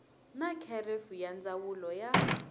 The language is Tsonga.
na kherefu ya ndzawulo ya